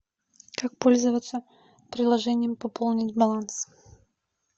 как пользоваться приложением пополнить баланс